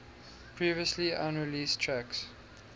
previously unreleased tracks